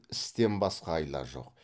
істен басқа айла жоқ